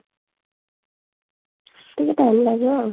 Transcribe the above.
ଟିକେ time ଲାଗିବ ଆଉ